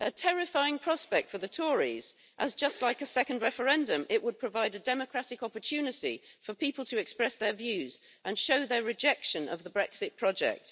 This is a terrifying prospect for the Tories as, just like a second referendum, it would provide a democratic opportunity for people to express their views and show their rejection of the Brexit project.